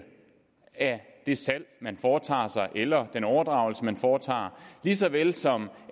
af det salg man foretager eller den overdragelse man foretager lige så vel som